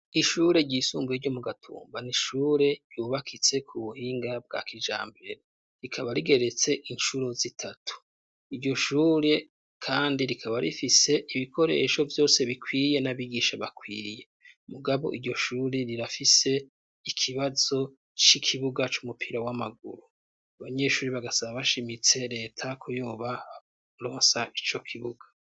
Ishure ry'isumbuye ryo mu gatumba nishure ryubakitse ku buhinga bwa kijambere rikaba rigeretse incuro zitatu iryo shure kandi rikaba rifise ibikoresho vyose bikwiye n'abigisha bakwiye mugabo iryoshure rirafise ikibazo c'ikibuga c'umupira w'amaguru abanyeshuri bagasaba bashimitse leta ku yobaronsa icyo kibuga.